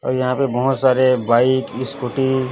और यहां पे बहोत सारे बाइक स्कूटी --